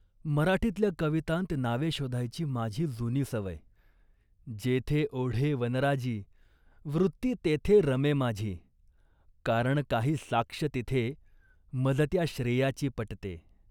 मराठीतल्या कवितांत नावे शोधायची माझी जुनी सवय. जेथे ओढे वनराजी । वृत्ती तेथे रमे माझी। कारण काही साक्ष तिथे । मज त्या श्रेयाची पटते।